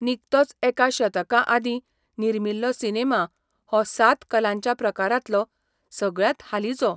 निकतोच एका शतकाआदीं निर्मिल्लो सिनेमा हो सात कलांच्या प्रकारांतलो सगळ्यांत हालींचो.